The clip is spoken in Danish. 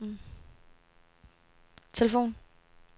telefon